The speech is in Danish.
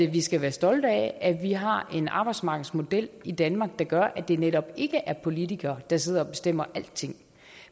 vi skal være stolte af at vi har en arbejdsmarkedsmodel i danmark der gør at det netop ikke er politikere der sidder og bestemmer alting